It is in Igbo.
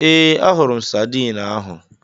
Ee, ahụrụ m sadiin ahu.